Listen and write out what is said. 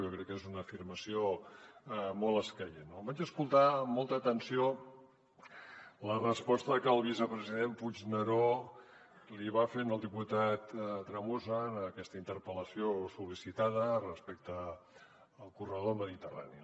jo crec que és una afirmació molt escaient no vaig escoltar amb molta atenció la resposta que el vicepresident puigneró li va fer al diputat tremosa en aquesta interpel·lació sol·licitada respecte al corredor mediterrani